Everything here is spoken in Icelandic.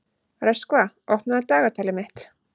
Röskva, opnaðu dagatalið mitt.